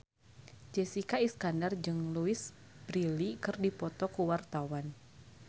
Jessica Iskandar jeung Louise Brealey keur dipoto ku wartawan